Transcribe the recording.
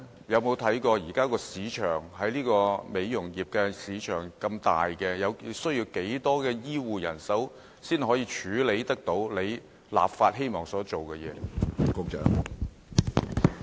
現時美容業市場龐大，局長有否評估需要多少醫護人手才能處理立法希望進行的工作呢？